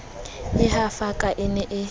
e hafaka e ne e